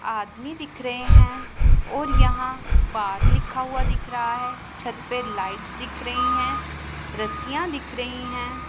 आदमी दिख रहे हैं और यहां बार लिखा हुआ दिख रहा है छत पे लाइट्स दिख रही हैं रस्सियां दिख रही हैं।